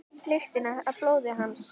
Lyktina af blóði hans.